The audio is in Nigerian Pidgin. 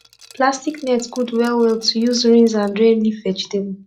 plastic net good well well to use rinse and drain leaf vegetable